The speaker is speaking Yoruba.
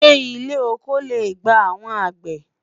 ṣé ilé ọkọ lẹ gbà àwọn àgbẹ?